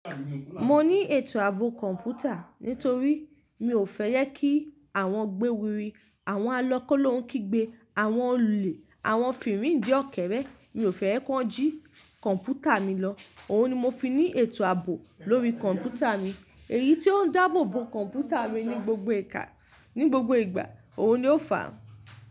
Mo ní ètò ààbò kọ̀ǹpútà torí mi ò fẹ́ yẹ kí àwọn gbéwiri, àwọn alọ kólóhun kígbe, àwọn olè, àwọn fèrèǹjẹ́ ọ̀kẹ́rẹ́, mi ò fẹ́ ẹ kí wọ́n jí kọ̀ǹpútà mi lọ. Òhun ni mo fi ní ètò ààbò lórí kọ̀ǹpútà mi. Èyí tí ó ń dáàbò bo kọ̀ǹpútà mi ní gbogbo ìgbà, òhun ni ó fà á.